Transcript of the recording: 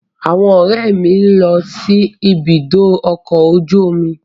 Àwọn ọ̀rẹ́ mi ni ó ń lọ sí ibùdó ọkọ̀ ojú omi.